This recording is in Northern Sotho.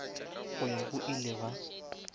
go ya go ile ba